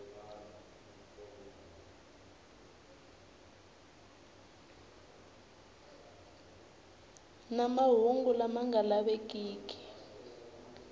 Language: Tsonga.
na mahungu lama nga lavikiki